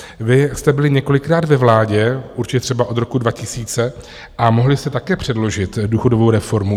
Vy jste byli několikrát ve vládě, určitě třeba od roku 2000, a mohli jste také předložit důchodovou reformu.